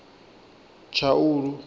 tshaulu